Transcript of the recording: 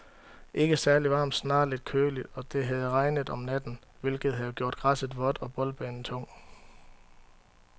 Ikke særligt varmt, snarere lidt køligt, og det havde regnet om natten, hvilket havde gjort græsset vådt og boldbanen tung.